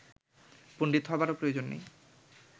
পণ্ডিত হবারও প্রয়োজন নেই